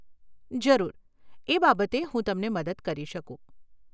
જરૂર, એ બાબતે હું તમને મદદ કરી શકું.